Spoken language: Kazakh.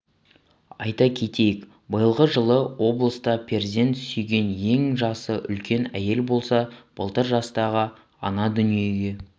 айта кетейік биылғы жылы облыста перзент сүйген ең жасы үлкен әйел болса былтыр жастағы ана дүниеге